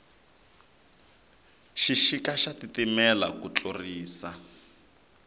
xixika xa titimela ku tlurisisa